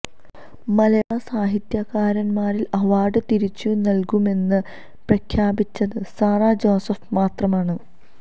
മലയാള സാഹിത്യകാരന്മാരില് അവാര്ഡ് തിരിച്ചു നല്കുമെന്ന് പ്രഖ്യാപിച്ചത് സാറാ ജോസഫ് മാത്രമാണ്